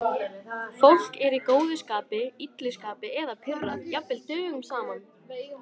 Fólk er í góðu skapi, illu skapi eða pirrað jafnvel dögum saman.